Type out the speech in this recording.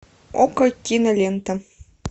окко кинолента